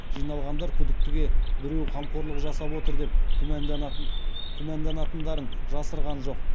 жиналғандар күдіктіге біреу қамқорлық жасап отыр деп күмәнданатындарын жасырған жоқ